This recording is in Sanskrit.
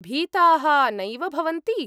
भीताः नैव भवन्ति?